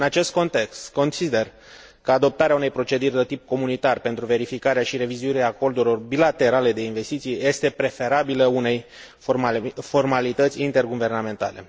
În acest context, consider că adoptarea unei proceduri de tip comunitar pentru verificarea și revizuirea acordurilor bilaterale de investiții este preferabilă unei formalități interguvernamentale.